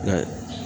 I y'a ye